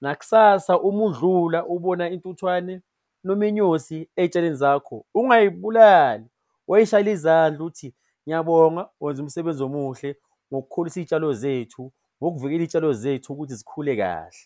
Nakusasa uma udlula ubona intuthwane noma inyosi ey'tshalweni zakho, ungayibulali woyishayela izandla uthi, ngiyabonga wenza umsebenzi omuhle ngokukhulisa iy'tshalo zethu, ngokuvikela iy'tshalo zethu ukuthi zikhule kahle.